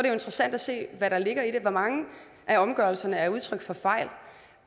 jo interessant at se hvad der ligger i det i hvor mange af omgørelserne er det udtryk for fejl i